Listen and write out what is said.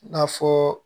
I n'a fɔ